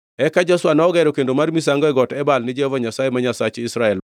Eka Joshua nogero kendo mar misango e got Ebal ni Jehova Nyasaye ma Nyasach Israel,